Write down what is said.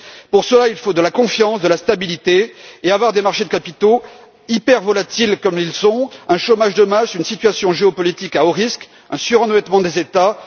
Pour cela, il faut de la confiance, de la stabilité et avoir des marchés de capitaux hypervolatiles comme ils sont, un chômage de masse, une situation géopolitique à haut risque, un surendettement des États.